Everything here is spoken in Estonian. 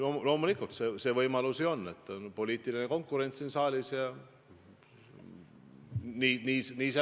Loomulikult, see võimalus ju on, et siin saalis on poliitiline konkurents ja nii see läheb.